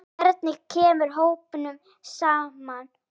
Hvernig kemur hópnum saman?